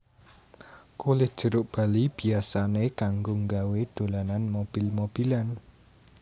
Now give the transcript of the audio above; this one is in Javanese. Kulit jeruk bali biyasané kanggo nggawé dolanan mobil mobilan